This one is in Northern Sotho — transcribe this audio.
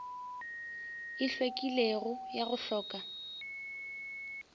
e hlwekilego ya go hloka